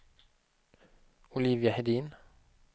Olivia Hedin